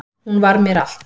Hún var mér allt